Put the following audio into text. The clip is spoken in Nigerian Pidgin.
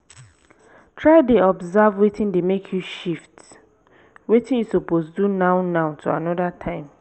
try dey observe wetin dey mek yu shift wetin yu suppose do now-now to anoda time